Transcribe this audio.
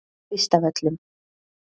Kvistavöllum